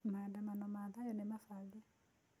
Maandamano ma thayũ nĩmabange.